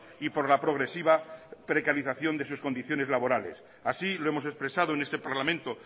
y por la progresiva precarización de sus condiciones laborales así lo hemos expresado en este parlamento